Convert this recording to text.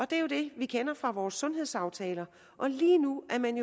det er jo det vi kender fra vores sundhedsaftaler og lige nu er man